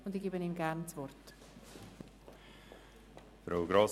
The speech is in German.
Ich erteile ihm gerne das Wort.